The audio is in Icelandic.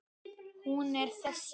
Hún er þessi